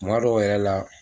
Kuma dɔw yɛrɛ la.